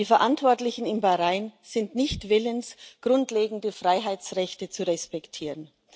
Die Verantwortlichen in Bahrain sind nicht willens, grundlegende Freiheitsrechte zu respektieren.